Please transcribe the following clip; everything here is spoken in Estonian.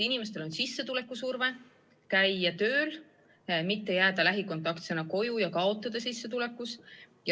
Inimestel on surve käia tööl, mitte jääda lähikontaktsena koju ja kaotada sissetulekus.